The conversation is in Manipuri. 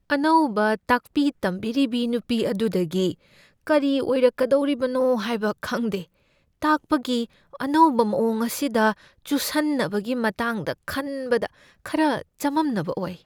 ꯑꯅꯧꯕ ꯇꯥꯛꯄꯤ ꯇꯝꯕꯤꯔꯤꯕꯤ ꯅꯨꯄꯤ ꯑꯗꯨꯗꯒꯤ ꯀꯔꯤ ꯑꯣꯏꯔꯛꯀꯗꯧꯔꯤꯕꯅꯣ ꯍꯥꯏꯕ ꯈꯪꯗꯦ꯫ ꯇꯥꯛꯄꯒꯤ ꯑꯅꯧꯕ ꯃꯑꯣꯡ ꯑꯁꯤꯗ ꯆꯨꯁꯟꯅꯕꯒꯤ ꯃꯇꯥꯡꯗ ꯈꯟꯕꯗ ꯈꯔ ꯆꯃꯝꯅꯕ ꯑꯣꯏ꯫